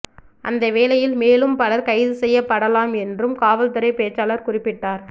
அந்த வேளையில் மேலும் பலர் கைதுசெய்யப்படலாம் என்றும் காவல்துறை பேச்சாளர் குறிப்பிட்டார்